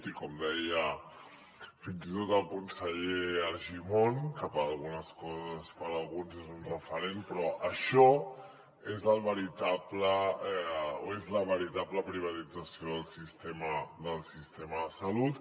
i com deia fins i tot el conseller argimon que per a algunes coses per a alguns és un referent això és la veritable privatització del sistema de salut